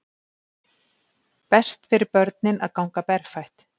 Best fyrir börnin að ganga berfætt